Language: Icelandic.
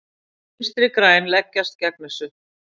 Vinstri græn leggjast gegn þessu.